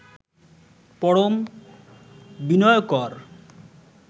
পরম বি্নয়কর